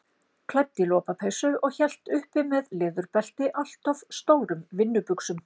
Klædd í lopapeysu og hélt uppi með leðurbelti allt of stórum vinnubuxum.